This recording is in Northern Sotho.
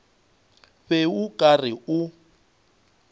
be o ka re o